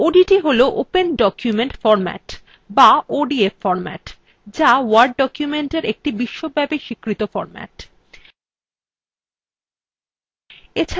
odt হল open document format বা odf format যা word documentএর একটি বিশ্বব্যাপী স্বীকৃত ফরম্যাট